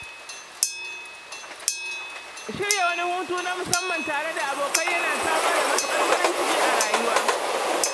Shirya wani hutu na musamman tare da abokai yana samar da matuƙar farin ciki a rayuwa